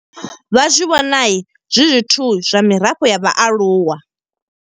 Vha zwi vhona zwi zwithu zwa mirafho ya vhaaluwa.